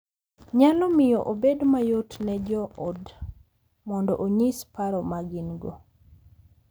Nyalo miyo obed mayot ne jo ot mondo onyis paro ma gin-go.